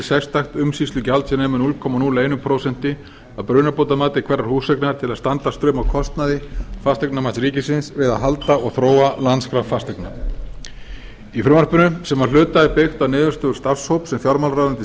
sérstakt umsýslugjald sem nemur núll komma núll eitt prósent af brunabótamati herra húseignar til að standa straum af kostnaði fasteignamats ríkisins við að halda og þróa landskrá fasteigna í frumvarpinu sem að hluta er byggt á niðurstöðu starfshóps sem fjármálaráðuneytið